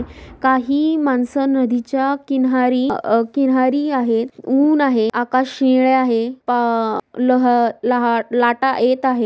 काही मानस नदीच्या किनारी अह किनारी आहेत. ऊन आहे आकाश शीळे आहे पहा लहा लह लाटा येत आहेत.